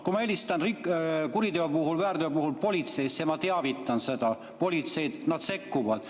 Kui ma helistan kuriteo või väärteo puhul politseisse, siis ma teavitan sellest politseid ja nad sekkuvad.